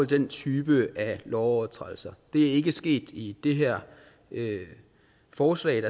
den type af lovovertrædelser det er ikke sket i det her forslag